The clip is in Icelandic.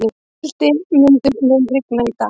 Hildimundur, mun rigna í dag?